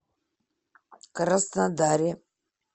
краснодаре